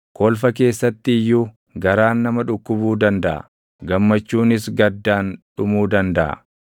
Kolfa keessatti iyyuu garaan nama dhukkubuu dandaʼa; gammachuunis gaddaan dhumuu dandaʼa.